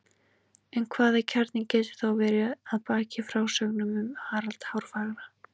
En hvaða kjarni getur þá verið að baki frásögnum um Harald hárfagra?